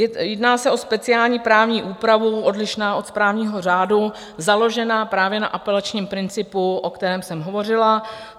Jedná se o speciální právní úpravu odlišnou od právního řádu, založenou právě na apelačním principu, o kterém jsem hovořila.